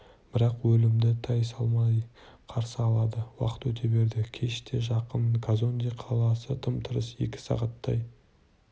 бірақ өлімді тайсалмай қарсы алады уақыт өте берді кеш те жақын казонде қаласы тым-тырыс екі сағаттай